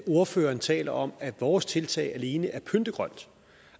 ordføreren taler om at vores tiltag alene er pyntegrønt